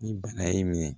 Ni bana y'i minɛ